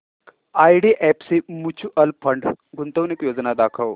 IDFC mutual fund गुंतवणूक योजना दाखव